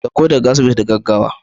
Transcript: Saukowa asibiti da gaggawa